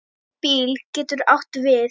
BÍL getur átt við